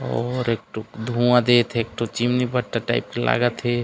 और एक ठो धुआँ देत हे एक ठो चिमनी भट्टा टाइप के लागत हे।